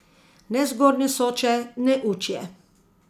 Ne zgornje Soče, ne Učje.